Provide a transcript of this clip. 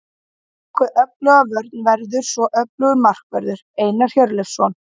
Á bakvið öfluga vörn verður svo öflugur markvörður, Einar Hjörleifsson.